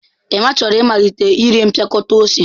Emma chọrọ ịmalite ire mpịakọta ose.